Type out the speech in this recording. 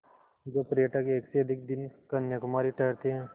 जो पर्यटक एक से अधिक दिन कन्याकुमारी ठहरते हैं